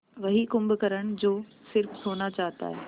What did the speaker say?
वही कुंभकर्ण जो स़िर्फ सोना चाहता है